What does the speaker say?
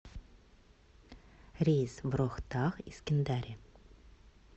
рейс в рохтак из кендари